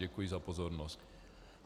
Děkuji za pozornost.